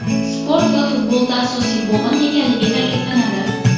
Sport va futbolda asosiy bo‘g‘in ekanligi ta’kidlanadi.